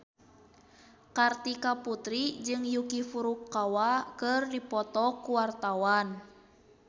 Kartika Putri jeung Yuki Furukawa keur dipoto ku wartawan